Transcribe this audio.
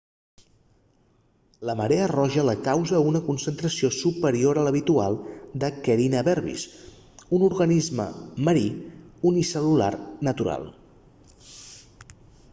la marea roja la causa una concentració superior a l'habitual de karenia brevis un organisme marí unicel·lular natural